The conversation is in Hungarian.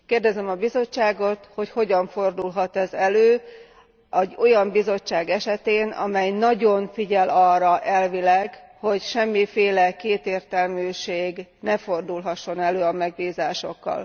Kérdezem a Bizottságot, hogy hogyan fordulhat ez elő egy olyan Bizottság esetén, amely nagyon figyel arra elvileg, hogy semmiféle kétértelműség ne fordulhasson elő a megbízásokkal.